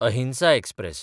अहिंसा एक्सप्रॅस